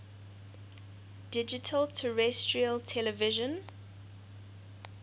digital terrestrial television